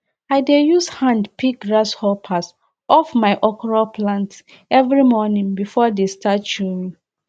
i dey use hand pick grasshoppers off my okra plants every morning before they start chewing